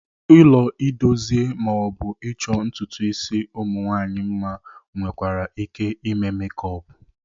Ụlọ idozie ma ọ bụ ịchọ ntụtụ isi ụmụnwaanyị mma nwekwara ike ime mekup.